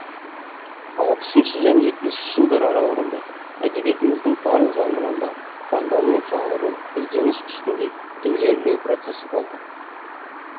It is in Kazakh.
алпысыншы және жетпісінші жылдар аралығында әдебиетіміздің барлық жанрларында жандану жаңғыру ізденіс үстінде ілгерілеу процесі болды